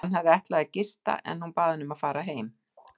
Hann hafði ætlað að gista en hún bað hann að fara heim.